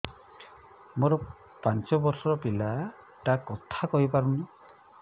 ମୋର ପାଞ୍ଚ ଵର୍ଷ ର ପିଲା ଟା କଥା କହି ପାରୁନି